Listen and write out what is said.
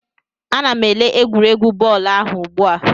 Ana m ele egwuregwu bọọlụ ahụ ugbu a